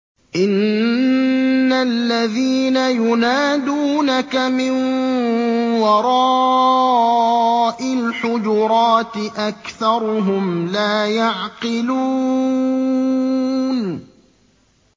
إِنَّ الَّذِينَ يُنَادُونَكَ مِن وَرَاءِ الْحُجُرَاتِ أَكْثَرُهُمْ لَا يَعْقِلُونَ